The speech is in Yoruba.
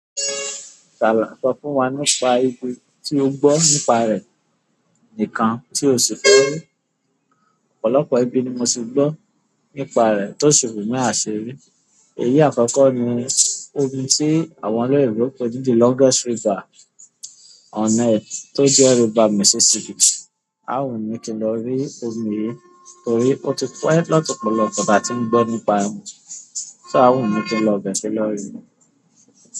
Ṣàlá ń sọ fún wa nípa ibi tí o gbọ́ nípa rẹ̀ nkan tí o sì fẹ́ rí. Ọ̀pọ̀lọpọ̀ ibi ni mo ti gbọ́ nípa rẹ̀ tó ṣi ni àṣirí. Èyí akoko ni ibi ti àwọn oloyinbo pe ni the longest river on earth to je river Mississippi. A wu mi í kí n lọ rí ọmi yìí torí ó ti pẹ́ lọ̀polopọ̀ ta tí n gbọ́ nípa, sọ a ò ní kí n lọ bẹ̀rẹ̀ lọ rí i.